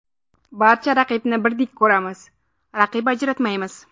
Barcha raqibni birdek ko‘ramiz, raqib ajratmaymiz.